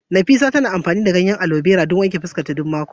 Nafisah tana amfani da gel na alobera don wanke gashinta duk mako.